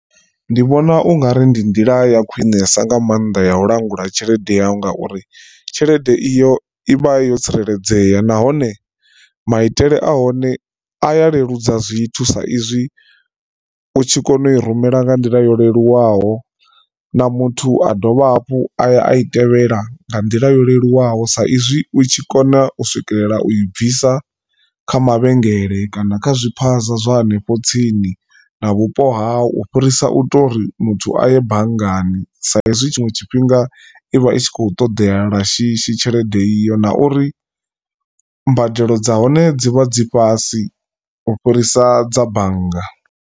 Ndi vhona ungari ndi nḓila ya khwinesa nga maanḓa ya u langula tshelede yau ngauri tshelede iyo ivha yo tsireledzea nahone maitele a hone a ya leludza zwithu sa izwi u tshi kona u i rumela nga nḓila yo leluwaho na muthu a dovha hafhu aya a i tevhela nga nḓila yo leluwaho. Sa izwi u tshi kona u swikelela u i bvisa kha mavhengele kana kha zwiphaza zwa hanefho tsini na vhupo hau ufhirisa u to uri muthu aye banngani saizwi tshiṅwe tshifhinga ivha i tshi khou ṱoḓea lwa shishi tshelede iyo na uri mbadelo dza hone dzi vha dzi fhasi ufhirisa dza bannga.